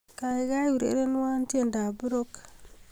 Kaikai urerenwo tiendoab Rock